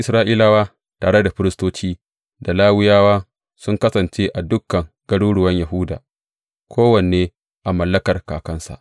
Sauran Isra’ilawa tare da firistoci, da Lawiyawa sun kasance a dukan garuruwan Yahuda, kowanne a mallakar kakansa.